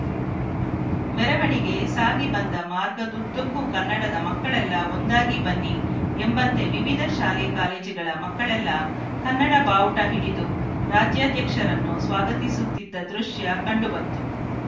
ಮೆರವಣಿಗೆ ಸಾಗಿ ಬಂದ ಮಾರ್ಗದುದ್ದಕ್ಕೂ ಕನ್ನಡದ ಮಕ್ಕಳೆಲ್ಲ ಒಂದಾಗಿ ಬನ್ನಿ ಎಂಬಂತೆ ವಿವಿಧ ಶಾಲೆ ಕಾಲೇಜ್‌ಗಳ ಮಕ್ಕಳೆಲ್ಲ ಕನ್ನಡ ಭಾವುಟ ಹಿಡಿದು ರಾಜ್ಯಾಧ್ಯಕ್ಷರನ್ನು ಸ್ವಾಗತಿಸುತ್ತಿದ್ದ ದೃಶ್ಯ ಕಂಡುಬಂತು